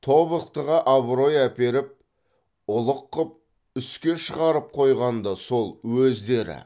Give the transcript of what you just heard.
тобықтыға абырой әперіп ұлық қып үске шығарып қойған да сол өздері